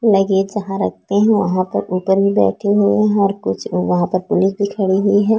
Luggage जहाँ रखते है वहाँ पर उधर भी बैठे हुए हैं और कुछ लोग वहाँ पर पुलिस खड़े हुए हैं ।